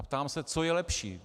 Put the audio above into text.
A ptám se, co je lepší.